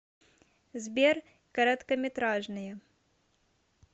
сбер короткометражные